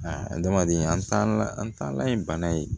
Aa adamaden an taala an taalan ye bana ye